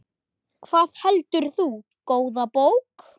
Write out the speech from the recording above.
Hvað heldur þú, góða bók?